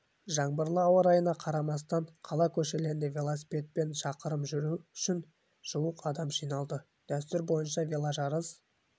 жаңбырлы ауа райына қарамастан қала көшелерінде велосипедпен шақырым жүру үшін жуық адам жиналды дәстүр бойынша веложарыс